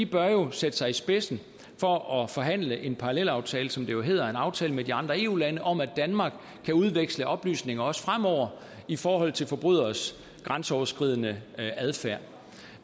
bør sætte sig i spidsen for at forhandle en parallelaftale som det jo hedder en aftale med de andre eu lande om at danmark kan udveksle oplysninger også fremover i forhold til forbryderes grænseoverskridende adfærd